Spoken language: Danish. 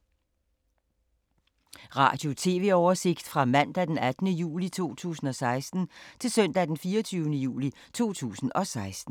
Radio/TV oversigt fra mandag d. 18. juli 2016 til søndag d. 24. juli 2016